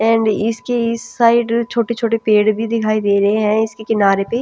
and इसके इस side छोटे-छोटे पेड़ भी दिखाई दे रहे हैं इसके किनारे पे--